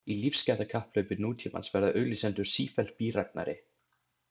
Í lífsgæðakapphlaupi nútímans verða auglýsendur sífellt bíræfnari.